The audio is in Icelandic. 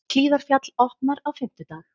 Hlíðarfjall opnar á fimmtudag